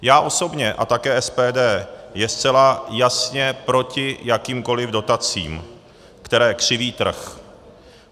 Já osobně a také SPD jsme zcela jasně proti jakýmkoliv dotacím, které křiví trh.